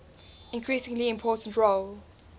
increasingly important role